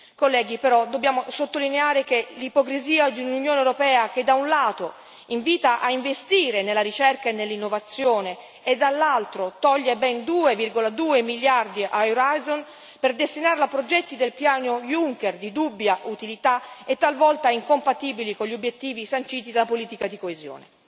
Colleghi, però, dobbiamo sottolineare che l'ipocrisia di un'Unione europea che, da un lato, invita a investire nella ricerca e nell'innovazione e, dall'altro, toglie ben 2,2 miliardi a Orizzonte per destinarlo a progetti del piano Juncker, di dubbia utilità, è talvolta incompatibili con gli obiettivi sanciti dalla politica di coesione.